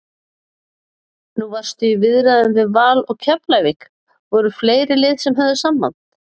Nú varstu í viðræðum við Val og Keflavík, voru fleiri lið sem höfðu samband?